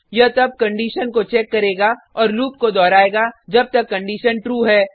यह तब कंडिशन को चेक करेगा और लूप को दोहरायेगा जब तक कंडिशन ट्रू है